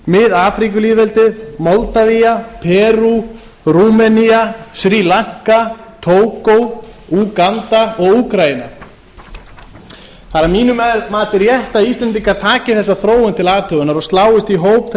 mið afríkulýðveldið moldavía perú rúmenía sri lanka tógó úganda og úkraína það er að mínu mati rétt að íslendingar taki þessa þróun til athugunar og sláist í hóp